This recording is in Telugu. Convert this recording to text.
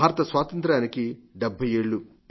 భారత స్వాతంత్ర్యానికి 70 ఏళ్లు